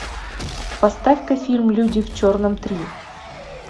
поставь ка фильм люди в черном три